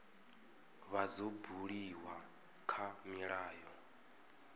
vha dzo buliwa kha milayo